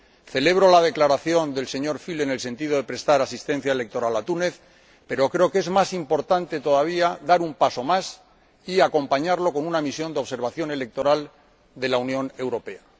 Celebro la declaración del señor Füle en el sentido de prestar asistencia electoral a Túnez, pero creo que es más importante todavía dar un paso más y acompañarlo con una misión de observación electoral de la Unión Europea.